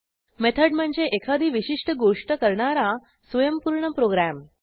method म्हणजे एखादी विशिष्ट गोष्ट करणारा स्वयंपूर्ण प्रोग्रॅम